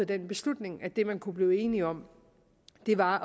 den beslutning at det man kunne blive enige om var